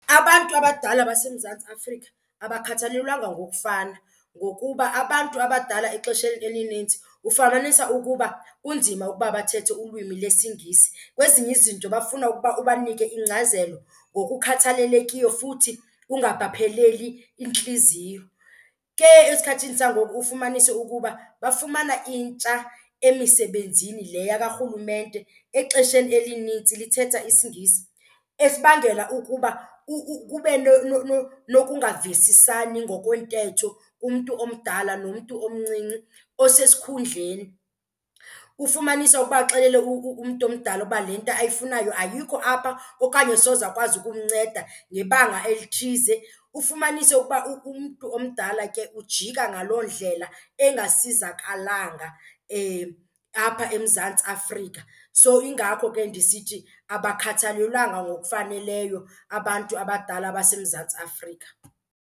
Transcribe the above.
Abantu abadala baseMzantsi Afrika abakhathalelwanga ngokufana ngokuba abantu abadala exesheni elinintsi ufumanisa ukuba kunzima ukuba bathethe ulwimi lesiNgisi. Kwezinye izinto bafuna ukuba ubanike ingcazelo ngokukhathalelekiyo futhi ungabapheleli intliziyo. Ke esikhathini sangoku ufumanise ukuba bafumana intsha emisebenzini le yakarhulumente exesheni elinintsi lithetha isiNgisi esibangela ukuba kube nokungavisisani ngokwentetho kumntu omdala nomntu omncinci osesikhundleni. Ufumanise uba axelele umntu omdala uba le nto ayifunayo ayikho apha okanye soze akwazi ukumnceda ngebanga elithize. Ufumanise ukuba umntu omdala ke ujika ngaloo ndlela engasizakalanga apha eMzantsi Afrika. So yingakho ke ndisithi abakhathalelwanga ngokufaneleyo abantu abadala abaseMzantsi Afrika.